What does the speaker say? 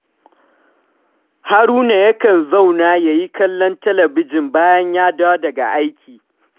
Haruna yakan zauna ya yi kallon talabijin bayan ya dawo daga aiki